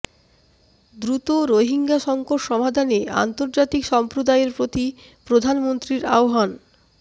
দ্রুত রোহিঙ্গা সংকট সমাধানে আন্তজার্তিক সম্প্রদায়ের প্রতি প্রধানমন্ত্রীর আহ্বান